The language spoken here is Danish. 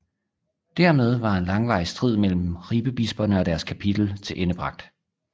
Dermed var en langvarig strid mellem Ribebisperne og deres kapitel tilendebragt